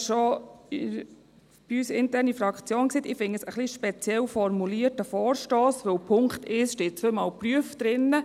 Ich finde diesen Vorstoss ein wenig speziell formuliert, denn in Punkt 1 steht zweimal «prüfen».